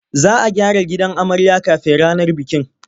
Za a gyara gidan amarya kafin ranar bikin.